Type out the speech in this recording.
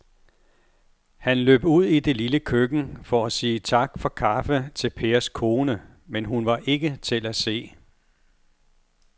Han løb ud i det lille køkken for at sige tak for kaffe til Pers kone, men hun var ikke til at se.